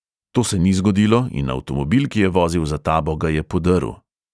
To se ni zgodilo in avtomobil, ki je vozil za tabo, ga je podrl.